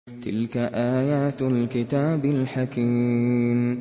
تِلْكَ آيَاتُ الْكِتَابِ الْحَكِيمِ